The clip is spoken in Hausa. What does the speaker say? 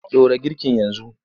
Ɗora girkin yanzu!